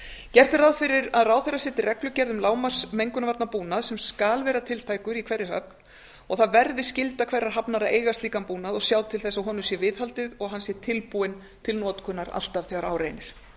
gert er ráð fyrir að ráðherra setji reglugerð um lágmarksmengunarvarnabúnað sem skal vera tiltækur í hverri höfn og það verði skylda hverrar hafnar að eiga slíkan búnað og sjá til þess að honum sé viðhaldið og hann sé tilbúinn til notkunar alltaf þegar á reynir